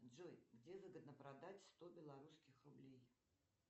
джой где выгодно продать сто белорусских рублей